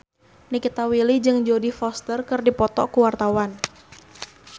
Nikita Willy jeung Jodie Foster keur dipoto ku wartawan